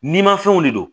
Ni ma fɛnw de don